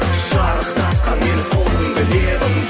шарықтатқан мені сол күнгі лебің